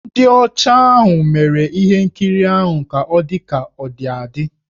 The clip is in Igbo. Ndị ọcha ahụ mere ihe nkirii ahụ ka ọ dị ka ọ dị adị.